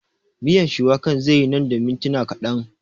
Miyar shuwakar zai yi nan da mintuna kaɗan